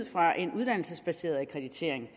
fra en uddannelsesbaseret akkreditering